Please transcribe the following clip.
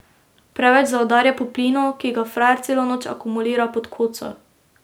Preveč zaudarja po plinu, ki ga frajer celo noč akumulira pod koco.